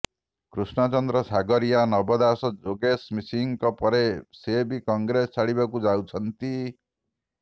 କୃଷ୍ଣ ଚନ୍ଦ୍ର ସଗରିଆ ନବଦାସ ଯୋଗେଶ ସିଂଙ୍କ ପରେ ସେ ବି କଂଗ୍ରେସ ଛାଡ଼ିବାକୁ ଯାଉଛନ୍ତି